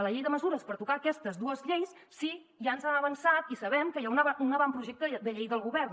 la llei de mesures per tocar aquestes dues lleis si ja ens han avançat i sabem que hi ha un avantprojecte de llei del govern